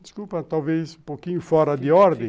Desculpa, talvez um pouquinho fora de ordem.